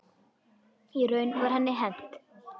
Í raun var henni hent.